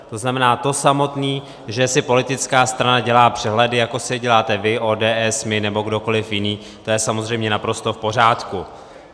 To znamená, to samotný, že si politická strana dělá přehledy, jako si je děláte vy, ODS, my, nebo kdokoliv jiný, to je samozřejmě naprosto v pořádku.